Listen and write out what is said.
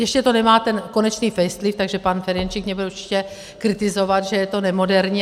Ještě to nemá ten konečný facelift, takže pan Ferjenčík mě bude určitě kritizovat, že je to nemoderní.